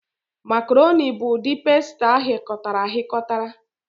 Macarọnị bụ ụdị pasta aghikotara aghikotara.